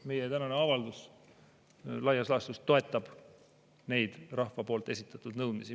Meie tänane avaldus laias laastus toetab neid rahva esitatud nõudmisi.